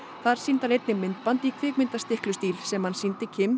þar sýndi hann einnig myndband í sem hann sýndi